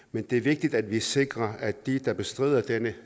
men det er vigtigt at vi sikrer at de der bestrider denne